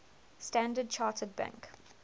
standard chartered bank